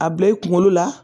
A bila i kunkolo la